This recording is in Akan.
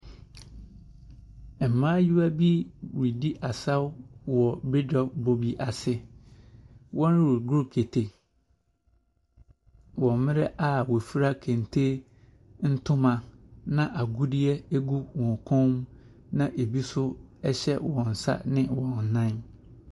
Mmayewa bi redi asaw wɔ bedwa bɔ bi ase. Wɔregoro kete wɔ mmrɛ a wɔfira kente ntoma na agudie egu wɔn kɔn mu na ebi ɛnso ɛhyɛ wɔnsa ne wɔnnan.